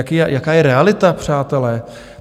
Jaká je realita, přátelé?